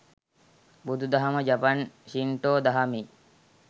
බුදුදහම ජපන් ශින්ටෝ දහමේ